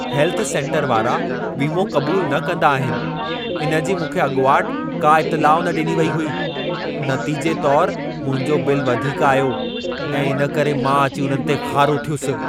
Health centre वारा वीमो क़बूल न कंदा आहिनि। इन जी मूंखे अॻुवाट का इतिलाउ न ॾिनी वेई हुई। नतीजे तोर मुंहिंजो बिल वधीक आयो ऐं इन करे मां अची उन्हनि ते ख़ारो थियुसि।